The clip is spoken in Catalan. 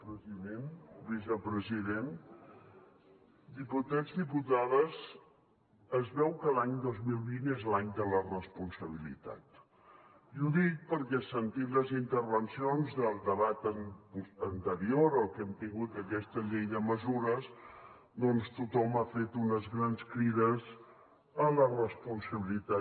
president vicepresident diputats diputades es veu que l’any dos mil vint és l’any de la responsabilitat i ho dic perquè sentint les intervencions del debat anterior al que hem tingut a aquesta llei de mesures doncs tothom ha fet unes grans crides a la responsabilitat